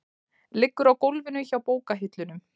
Liggur á gólfinu hjá bókahillunum.